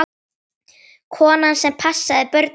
Konan sem passaði börnin mín.